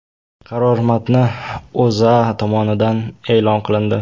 Qaror matni O‘zA tomonidan e’lon qilindi .